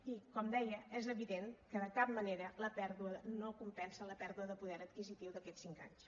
i com deia és evident que de cap manera no compensa la pèrdua de poder adquisitiu d’aquests cinc anys